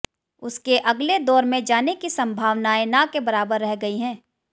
उसके अगले दौर में जाने की सम्भावनाएं न के बराबर रह गई हैं